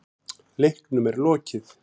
Leiknum er lokið